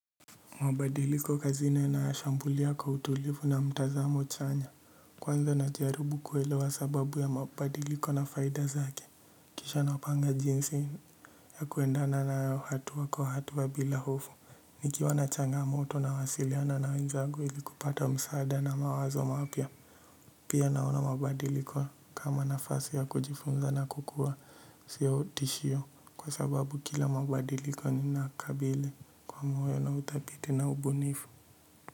Mabadiliko kazini nayashambulia kwa utulivu na mtazamo chanya. Kwanza najaribu kuelewa sababu ya mabadiliko na faida zake. Kisha napanga jinsi ya kuendana na hatua kwa hatua bila hofu. Nikiwa na changamoto nawasiliana na wenzangu ili kupata msaada na mawazo mapya. Pia naona mabadiliko kama nafasi ya kujifunza na kukua sio tishio. Kwa sababu kila mabadiliko ninakabili kwa moyo na uthabiti na ubunifu.